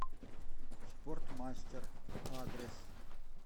спортмастер адрес